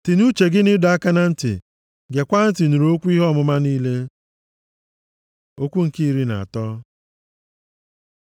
Tinye uche gị nʼịdọ aka na ntị; gekwaa ntị nụrụ okwu ihe ọmụma niile. Okwu nke iri na atọ